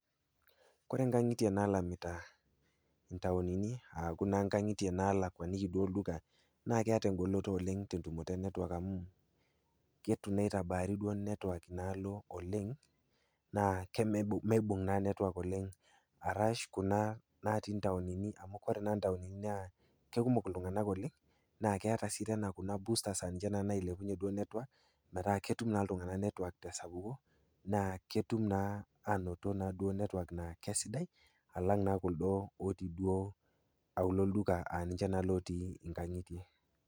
Kore nkang'itie naalamita ntaonini aaku naa ntaoni naalakuaniki duo olduka naa keeta engoloto olng' te entumoto e network amu keitu naa itabaari network inaalo oleng' naa meibung' naa network oleng' arash kuna naatii ntaonini naa kekumok iltung'anak oleng' naa keeta sii tena kuna boosters aa ninche naa nailepunyie duo network metaa ketum naa iltung'anak network tesapuko naa ketum naa aanoto naa duo network naa kesidai alang' naa kuldo otii duo auluo olduka aa ninche naa otii nkang'itie.